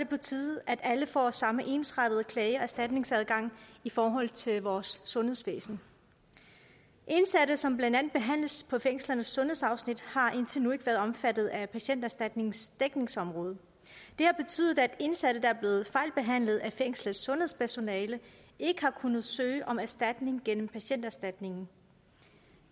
på tide at alle får samme ensartede klage og erstatningsadgang i forhold til vores sundhedsvæsen indsatte som blandt andet behandles på fængslernes sundhedsafsnit har indtil nu ikke været omfattet af patienterstatningens dækningsområde det har betydet at indsatte der er blevet fejlbehandlet af fængslets sundhedspersonale ikke har kunnet søge om erstatning gennem patienterstatningen